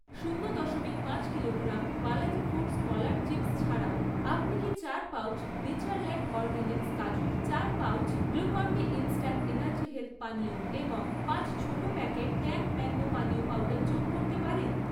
শূন্য দশমিক পাঁচ কিলোগ্রাম বালাজি ফুড্স কলার চিপস্ ছাড়াও, আপনি কি চার পাউচ নেচারল্যান্ড অরগ্যানিক্স কাজু, চার pouch Glucon D instant energy health পানীয় এবং পাঁচ ছোট প্যাকেট ট্যাং ম্যাঙ্গো পানীয় পাউডার যোগ করতে পারেন?